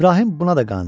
İbrahim buna da qane idi.